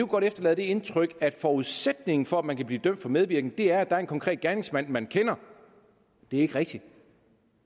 godt efterlade det indtryk at forudsætningen for at man kan blive dømt for medvirken er at der er en konkret gerningsmand man kender det er ikke rigtigt